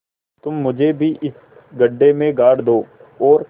तुम मुझे भी इस गड्ढे में गाड़ दो और